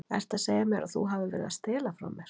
Ertu að segja mér að þú hafir verið að stela frá mér?